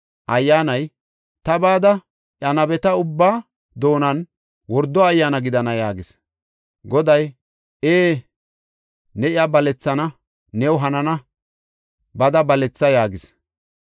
Ayyaanay, “Ta bada, iya nabeta ubbaa doonan wordo ayyaana gidana” yaagis. Goday, “Ee, ne iya balethana; new hanana; bada baletha” yaagis.